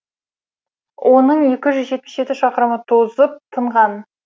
оның екі жүз жетпіс жеті шақырымы тозып тынған